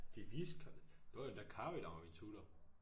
De viste det var endda Caroe der var min tutor